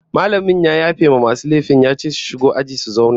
Mallamin ya yafe wa masu laifin ya ce su shigo aji su zauna